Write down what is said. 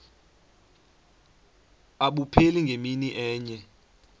abupheli ngemini enye